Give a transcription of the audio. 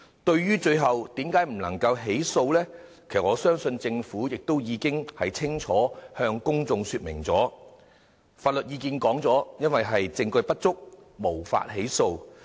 至於最後為何無法提出起訴，我相信政府已清楚向公眾說明，就是徵詢法律意見後認為證據不足，無法起訴。